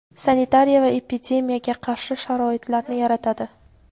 sanitariya va epidemiyaga qarshi sharoitlarni yaratadi.